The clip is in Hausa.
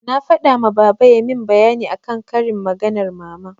Na faɗa ma baba yayi min bayani akan karin maganar mama.